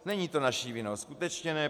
Není to naší vinou, skutečně ne.